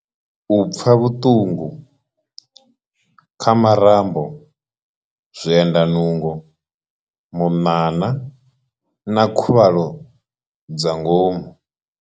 U pfa vhuṱungu. Kha marambo, zwiendanungo, munana na khuvhalo dza ngomu.